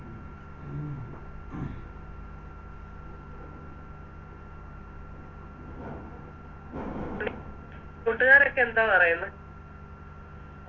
കൂട്ടുകാരൊക്കെ എന്തോ പറയുന്ന്